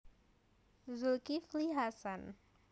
Zulkifli Hasan